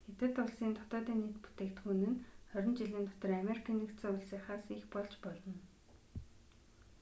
хятад улсын днб нь хорин жилийн дотор америкийн нэгдсэн улсынхаас их болж болно